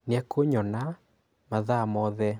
nĩekũnyona mathaa mothe